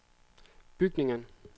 bygningen